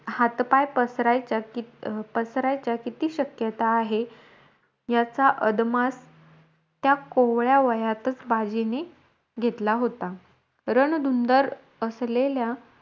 हात पाय पसरायचा पसरायच्या किती शक्यता आहे? याचा अदमास या कोवळ्या वयातचं बाजींनी घेतला होता. रणधुन्दर असलेल्या,